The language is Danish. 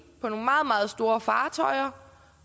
på nogle meget meget store fartøjer